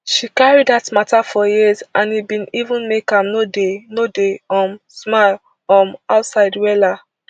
she carry dat mata for years and e bin even make am no dey no dey um smile um outside wella